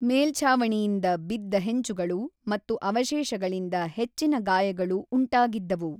ಮೇಲ್ಛಾವಣಿಯಿಂದ ಬಿದ್ದ ಹೆಂಚುಗಳು ಮತ್ತು ಅವಶೇಷಗಳಿಂದ ಹೆಚ್ಚಿನ ಗಾಯಗಳು ಉಂಟಾಗಿದ್ದವು.